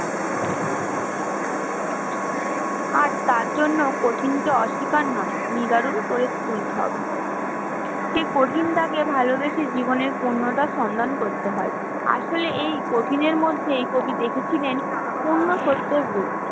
আর তার জন্য কঠিন হত অস্বীকার নয় নিবারণ করে তুলতে হবে, সেই কঠিনতা কে ভালোবেসে জীবনের পূর্ণতা সন্ধান করতে হয় আসলেই এ কঠিনের মধ্যেই কবি দেখেছিলেন পুণ্যসত্যলোক